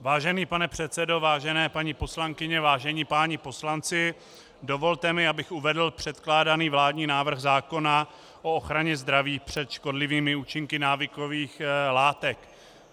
Vážený pane předsedo, vážené paní poslankyně, vážení páni poslanci, dovolte mi, abych uvedl předkládaný vládní návrh zákona o ochraně zdraví před škodlivými účinky návykových látek.